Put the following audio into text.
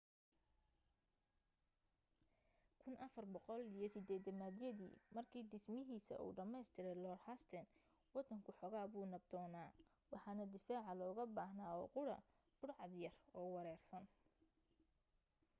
1480yadii markii dhismahiisa uu dhammaystiray lord hastings waddanku xoogaa buu nabdoonaa waxana difaaca looga baahnaa oo qudha budhcad yar oo wareersan